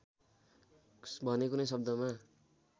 भने कुनै शब्दमा